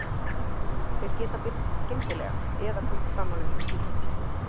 Þau geta birst skyndilega eða komið fram á löngum tíma.